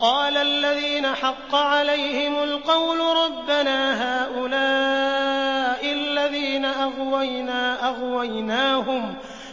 قَالَ الَّذِينَ حَقَّ عَلَيْهِمُ الْقَوْلُ رَبَّنَا هَٰؤُلَاءِ الَّذِينَ أَغْوَيْنَا